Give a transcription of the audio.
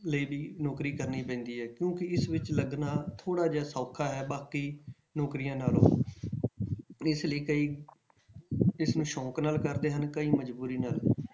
ਲਈ ਵੀ ਨੌਕਰੀ ਕਰਨੀ ਪੈਂਦੀ ਹੈ ਕਿਉਂਕਿ ਇਸ ਵਿੱਚ ਲੱਗਣਾ ਥੋੜ੍ਹਾ ਜਿਹਾ ਸੌਖਾ ਹੈ ਬਾਕੀ ਨੌਕਰੀਆਂ ਨਾਲੋਂ ਇਸ ਲਈ ਕਈ ਇਸ ਨੂੰ ਸ਼ੌਂਕ ਨਾਲ ਕਰਦੇ ਹਨ, ਕਈ ਮਜ਼ਬੂਰੀ ਨਾਲ।